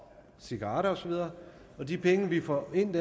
cigaretter og så videre de penge vi får ind